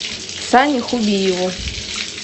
сане хубиеву